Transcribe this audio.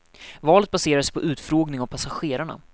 Valet baserar sig på utfrågning av passagerarna.